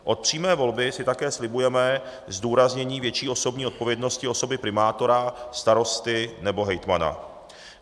Od přímé volby si také slibujeme zdůraznění větší osobní odpovědnosti osoby primátora, starosty nebo hejtmana.